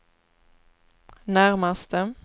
närmaste